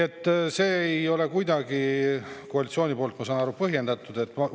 Ja see ei ole koalitsiooni arvates kuidagi põhjendatud, ma saan aru.